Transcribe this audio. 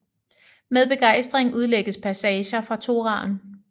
Med begejstring udlægges passager fra Toraen